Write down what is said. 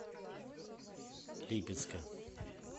липецка